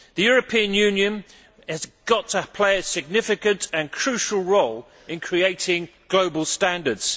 The European Union has got to play a significant and crucial role in creating global standards.